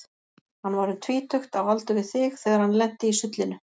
Hann var um tvítugt, á aldur við þig, þegar hann lenti í sullinu.